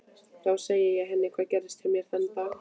Þá segi ég henni hvað gerðist hjá mér þennan dag.